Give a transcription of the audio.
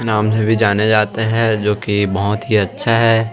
नाम से भी जाने जाते है जो की बहोत ही अच्छा है।